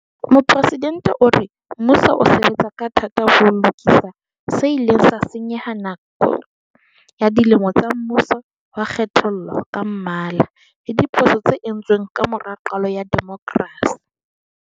Mopresidente o re mmuso o sebetsa ka thata ho lokisa se ileng sa senyeha nakong ya dilemo tsa mmuso wa kgethollo ka mmala le diphoso tse entsweng ka mora qalo ya demokrasi.